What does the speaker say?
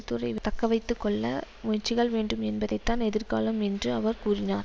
துறை தக்கவைத்து கொள்ள முயற்சிகள் வேண்டும் என்பதைத்தான் எதிர்காலம் என்று அவர் கூறினார்